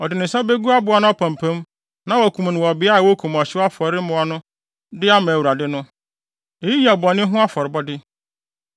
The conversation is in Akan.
Ɔde ne nsa begu aboa no apampam na wakum no wɔ beae a wokum ɔhyew afɔre mmoa no de ama Awurade no. Eyi yɛ ne bɔne ho afɔrebɔde.